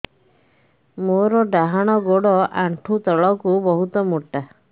ମୋର ଡାହାଣ ଗୋଡ ଆଣ୍ଠୁ ତଳୁକୁ ବହୁତ ମୋଟା